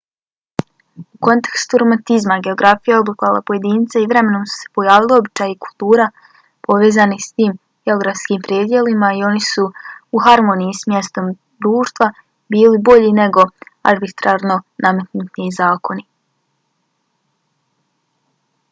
u kontekstu romantizma geografija je oblikovala pojedince i vremenom su se pojavili običaji i kultura povezani s tim geografskim predjelima i oni su u harmoniji s mjestom društva bili bolji nego arbitrarno nametnuti zakoni